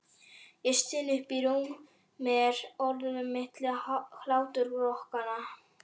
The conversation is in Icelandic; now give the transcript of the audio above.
Ég styn upp úr mér orðunum milli hláturrokanna.